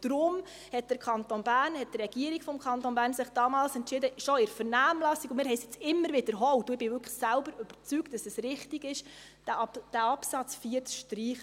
Deshalb hat die Regierung des Kantons Bern damals entschieden – schon in der Vernehmlassung, und wir haben es jetzt immer wiederholt, und ich bin selbst wirklich davon überzeugt –, dass es richtig ist, diesen Absatz 4 zu streichen.